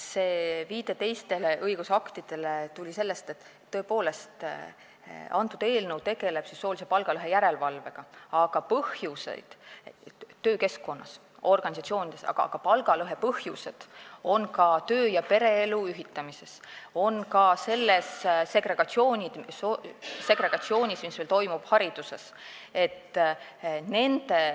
See viide teistele õigusaktidele tuli sellest, et see eelnõu tegeleb tõepoolest soolise palgalõhe järelevalvega töökeskkonnas, organisatsioonides, aga palgalõhe põhjused on ka töö- ja pereelu ühitamises, on ka segregatsioonis, mis meil hariduses toimub.